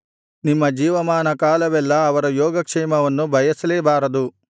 ನಿಮ್ಮ ಜೀವಮಾನಕಾಲವೆಲ್ಲಾ ಅವರ ಯೋಗಕ್ಷೇಮವನ್ನು ಬಯಸಲೇ ಬಾರದು